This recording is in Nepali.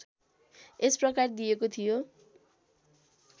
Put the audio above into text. यस प्रकार दिएको थियो